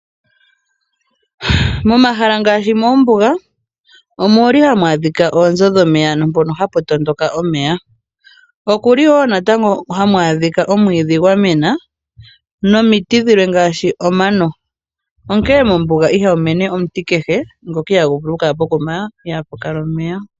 Momahala ngaashi moombuga ohamu adhika oonzo dhomeya, ano mpoka hapu tondoka omeya. Ohamu adhika wo omwiidhi gwa mena nomiti dhilwe ngaashi omano. Onkene mombuga ihamu mene omuti kehe ngoka ihaagu vulu okukala pokuma ihaapu kala omeya.